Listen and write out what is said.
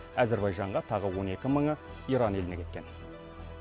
әзірбайжанға тағы он екі мыңы иран еліне кеткен